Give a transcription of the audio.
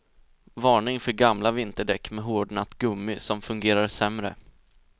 Varning för gamla vinterdäck med hårdnat gummi som fungerar sämre.